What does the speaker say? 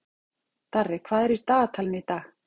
Darri, hvað er í dagatalinu í dag?